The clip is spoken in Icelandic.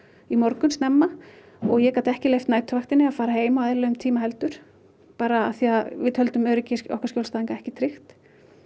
í morgun snemma og ég gat ekki leyft næturvaktinni að fara heim á eðlilegum tíma heldur því við töldum öryggi okkar skjólstæðinga ekki tryggt